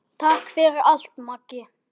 Takk fyrir allt, Maggi.